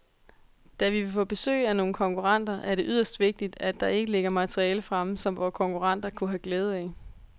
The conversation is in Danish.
Da vi vil få besøg af nogle konkurrenter, er det yderst vigtigt, at der ikke ligger materiale fremme, som vore konkurrenter kunne have glæde af.